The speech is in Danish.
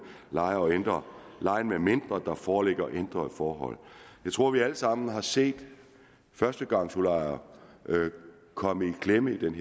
lejer og ændre lejen medmindre der foreligger ændrede forhold jeg tror at vi alle sammen har set at førstegangsudlejere er kommet i klemme i den